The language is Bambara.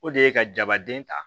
O de ye ka jabaden ta